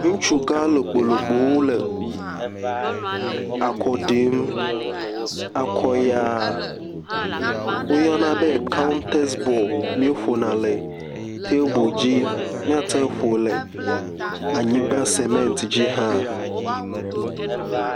Ŋutsu gã lokpo lokpowo le akɔ ɖim, akɔ yaa, woyɔna be kawtɛs bɔl, míeƒona le tebel dzi, míate ƒo le anyigba semɛnt dzi hã.